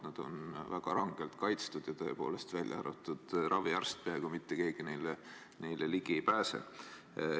Need on väga rangelt kaitstud ja, tõepoolest, peaaegu mitte keegi peale raviarsti neile ligi ei pääse.